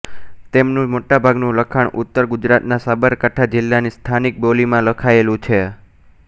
તેમનું મોટાભાગનું લખાણ ઉત્તર ગુજરાતના સાબરકાંઠા જિલ્લાની સ્થાનિક બોલીમાં લખાયેલું છે